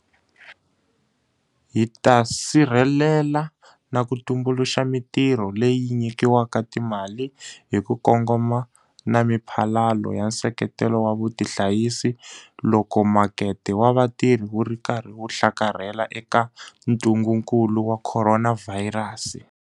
Hi ta sirhelela na ku tumbuluxa mitirho leyi nyikiwaka timali hi ku kongoma na miphalalo ya nseketelo wa vutihanyisi loko makete wa vatirhi wu ri karhi wu hlakarhela eka ntungukulu wa khoronavhayirasi.